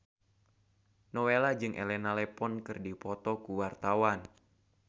Nowela jeung Elena Levon keur dipoto ku wartawan